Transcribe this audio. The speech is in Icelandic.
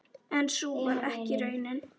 En sú varð ekki raunin.